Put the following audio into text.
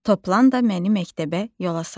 Toplan da məni məktəbə yola salır.